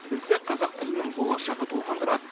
бізді қазақ тілінің болашағы толғандырады